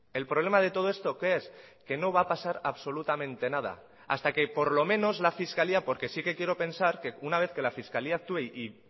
el problema de todo esto qué es que no va a pasar absolutamente nada hasta que por lo menos la fiscalía porque sí que quiero pensar que una vez que la fiscalía actúe y